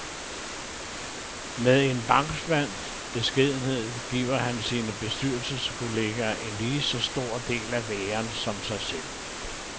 Med en bankmands beskedenhed giver han sine bestyrelseskolleger en lige så stor del af æren som sig selv.